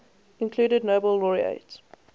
included nobel laureate